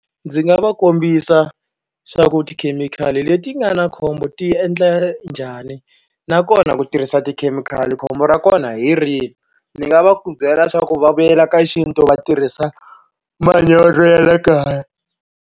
Ndzi nga va kombisa swa ku tikhemikhali leti nga na khombo ti endla njhani, nakona ku tirhisa tikhemikhali khombo ra kona hi rihi. Ndzi nga va byela leswaku va vuyela ka xintu va tirhisa manyoro ya le kaya.